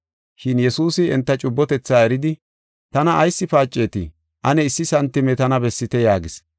Shin Yesuusi enta cubbotethaa eridi, “Tana ayis paacetii? Ane issi santime tana bessite” yaagis.